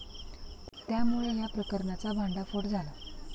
त्यामुळे या प्रकरणाचा भांडाफोड झाला.